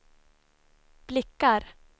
blickar